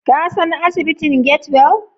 Ka san asibitin Get-well?